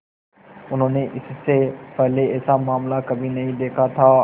उन्होंने इससे पहले ऐसा मामला कभी नहीं देखा था